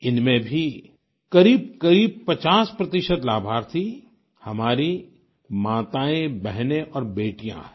इनमें भी करीबकरीब 50 प्रतिशत लाभार्थी हमारी माताएँबहने और बेटियाँ हैं